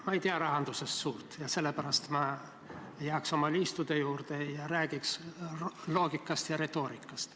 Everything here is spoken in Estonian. Ma ei tea rahandusest suurt midagi ja sellepärast ma jääks oma liistude juurde ja räägiks loogikast ja retoorikast.